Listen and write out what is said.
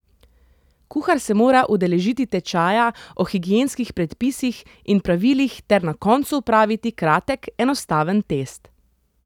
Kuhar se mora udeležiti tečaja o higienskih predpisih in pravilih ter na koncu opraviti kratek, enostaven test.